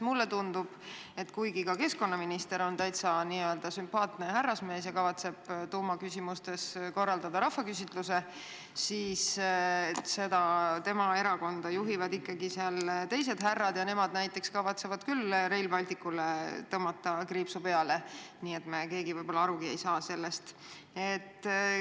Mulle tundub, et kuigi keskkonnaminister on täiesti sümpaatne härrasmees ja kavatseb tuumaenergia küsimustes korraldada rahvaküsitluse, juhivad tema erakonda ikkagi teised härrad ja nemad näiteks kavatsevad küll Rail Balticule tõmmata kriipsu peale, enne kui me keegi sellest arugi saame.